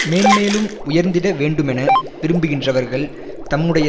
மேன்மேலும் உயர்ந்திட வேண்டுமென விரும்புகின்றவர்கள் தம்முடைய